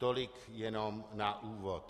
Tolik jen na úvod.